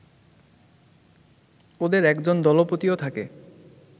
ওদের একজন দলপতিও থাকে